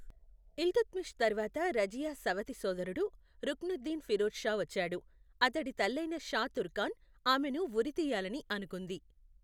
ఇల్తుత్మిష్ తర్వాత రజియా సవతి సోదరుడు రుక్నుద్దీన్ ఫిరోజ్ షా వచ్చాడు, అతడి తల్లైన షా తుర్కాన్ ఆమెను ఉరితీయాలని అనుకుంది.